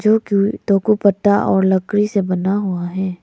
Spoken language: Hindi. पत्ता और लकड़ी से बना हुआ है।